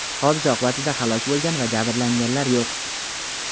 Hodisa oqibatida halok bo‘lgan va jabrlanganlar yo‘q.